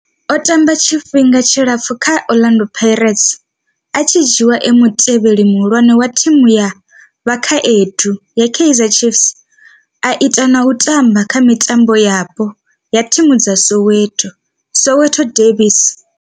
O tamba tshifhinga tshilapfhu kha Orlando Pirates, a tshi dzhiiwa e mutevheli muhulwane wa thimu ya vhakhaedu ya Kaizer Chiefs, a ita na u tamba kha mitambo yapo ya thimu dza Soweto, Soweto derbies.